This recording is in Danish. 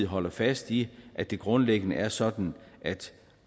holder fast i at det grundlæggende er sådan at